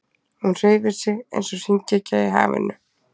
Hún hreyfir sig eins og hringekja í hafinu.